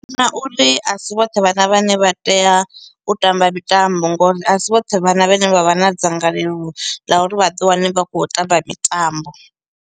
Na uri asi vhoṱhe vhana vhane vha tea u tamba mitambo ngori a si vhoṱhe vhana vhane vha vha na dzangalelo ḽa uri vhaḓi wane vha khou tamba mitambo.